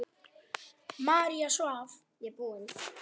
María svaf.